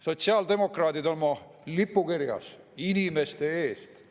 Sotsiaaldemokraadid on oma lipukirjas öelnud, et inimeste eest.